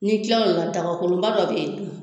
Ni kila lo la dagakolonba dɔ bɛ yen nɔ.